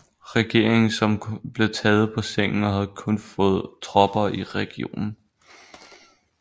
Regeringen som blev taget på sengen og havde kun få tropper i regionen